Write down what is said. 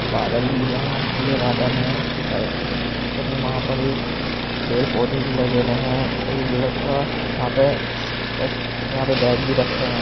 बादल भी यहाँं नीले बादल है उस साइड और वहाँं पर एक पेड़-पौधे भी लगेवे है और एक वहाँं पे यहाँं पे बैग भी रखे हुए हैं।